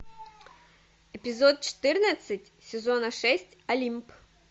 эпизод четырнадцать сезона шесть олимп